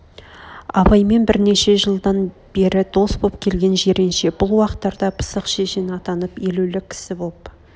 абаймен бірнеше жылдан бер дос боп келген жиренше бұл уақыттарда пысық шешен атанып елеулі кісі боп